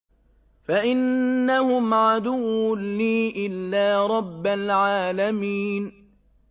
فَإِنَّهُمْ عَدُوٌّ لِّي إِلَّا رَبَّ الْعَالَمِينَ